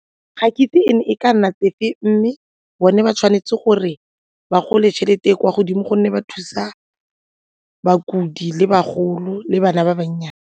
Ga ke itse e ne e ka nna tsefe mme bone ba tshwanetse gore ba gole tšhelete e kwa godimo gonne ba thusa bakudi le bagolo le bana ba bannyane.